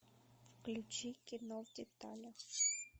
включи кино в деталях